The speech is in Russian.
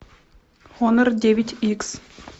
хонор девять икс